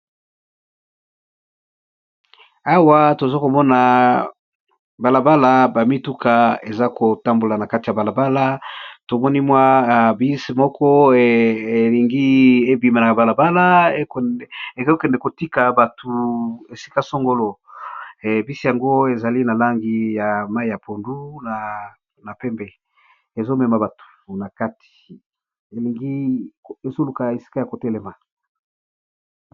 Awa tozo komona balabala ba mituka eza kotambola na kati ya balabala tomoni mwa bisi moko elingi ebima na balabala eokende kotika batu esika songolo bisi yango ezali na langi ya mayi ya pondu na pembe mezo luka esika ya ko telema.